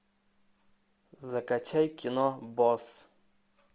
закачай кино босс